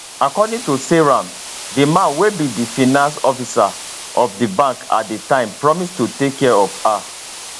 according to seyram di man wey be di finance officer of di bank at di time promise to take care of her